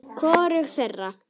Hvorugu þeirra.